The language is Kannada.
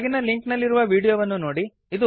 ಕೆಳಗಿನ ಲಿಂಕ್ ನಲ್ಲಿರುವ ವೀಡಿಯೋವನ್ನು ನೋಡಿರಿ